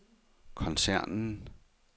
koncernen